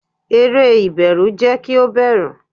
eré iberu jẹ ki o bẹru